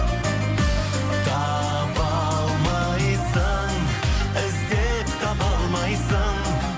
таба алмайсың іздеп таба алмайсың